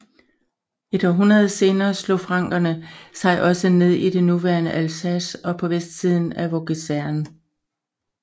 Et århundrede senere slog frankerne sig også ned i det nuværende Alsace og på vestsiden af Vogeserne